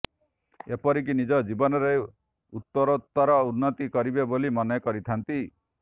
ଏପରିକି ନିଜ ଜୀବନରେ ଉତ୍ତରୋତ୍ତର ଉନ୍ନତି କରିବେ ବୋଲି ମନେ କରିଥାନ୍ତି